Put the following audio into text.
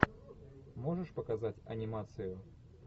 можешь показать анимацию